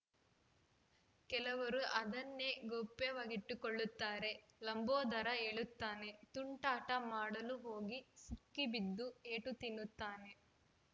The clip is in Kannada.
ಕೆಲವರು ಅದನ್ನೇ ಗೌಪ್ಯವಾಗಿಟ್ಟುಕೊಳ್ಳುತ್ತಾರೆ ಲಂಬೋದರ ಹೇಳುತ್ತಾನೆ ತುಂಟಾಟ ಮಾಡಲು ಹೋಗಿ ಸಿಕ್ಕಿಬಿದ್ದು ಏಟು ತಿನ್ನುತ್ತಾನೆ